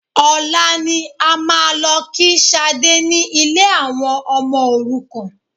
Ọ̀la ni a máa lọ kí Sadé ni ilé àwọn ọmọ òrukàn